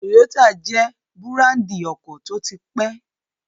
Toyota jẹ́ búràndì ọkọ̀ tó ti pẹ́